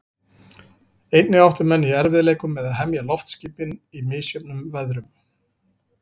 Einnig áttu menn í erfiðleikum með að hemja loftskipin í misjöfnum veðrum.